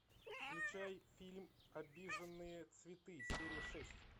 включай фильм обиженные цветы серия шесть